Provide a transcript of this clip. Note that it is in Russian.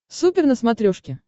супер на смотрешке